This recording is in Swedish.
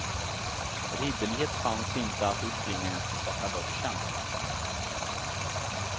Ridderlighet fanns inte att uppbringa ens på svarta börsen.